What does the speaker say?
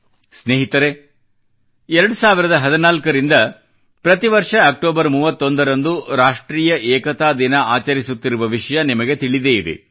ಸ್ನೇಹಿತರೇ 2014 ರಿಂದ ಪ್ರತಿ ವರ್ಷ ಅಕ್ಟೋಬರ್ 31 ರಂದು ರಾಷ್ಟ್ರೀಯ ಏಕತಾ ದಿನ ಆಚರಿಸುತ್ತಿರುವ ವಿಷಯ ನಿಮಗೆ ತಿಳಿದೇ ಇದೆ